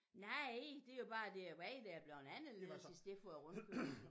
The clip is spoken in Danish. Nej det jo bare det ved der er blevet anderledes i stedet for rundkørsel